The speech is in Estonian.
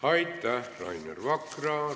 Aitäh, Rainer Vakra!